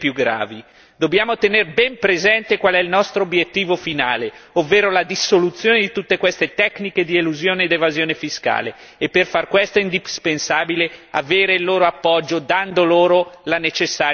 Dobbiamo tenere ben presente qual è il nostro obiettivo finale, ovvero la dissoluzione di tutte queste tecniche di elusione ed evasione fiscale, e per far questo è indispensabile avere il loro appoggio, dando loro la necessaria tutela.